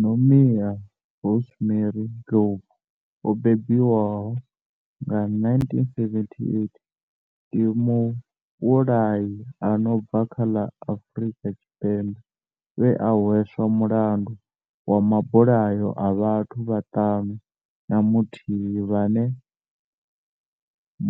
Nomia Rosemary Ndlovu o bebiwaho nga, 1978 ndi muvhulahi a no bva kha ḽa Afrika Tshipembe we a hweswa mulandu wa mabulayo a vhathu vhaṱanu na muthihi vhane